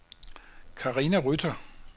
Karina Rytter